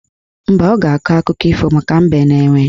Mba, ọ ga-akọ akụkọ ifo maka Mbe na Enwe